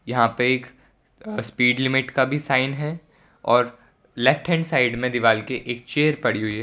यहां पे एक अ स्पीड लिमिट का भी साइन है और लेफ्टहैंड साइड में दीवाल के एक चेयर पड़ी हुई है।